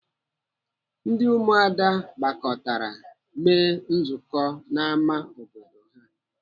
Ndị ụmụada gbakọtara mee nzukọ n'ámá obodo ha.